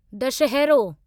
दशहरो